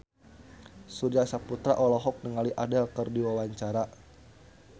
Surya Saputra olohok ningali Adele keur diwawancara